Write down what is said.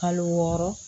Kalo wɔɔrɔ